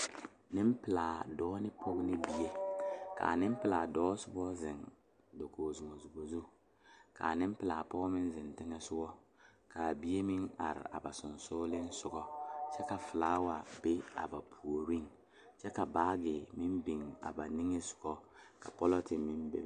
Nenpeɛle dɔɔ ne pɔge noba bayoɔbo naŋ are tabol zu bayi meŋ zeŋ la dakogi zu ka bayi meŋ are ka kaŋa su kpare naŋ waa pelaa.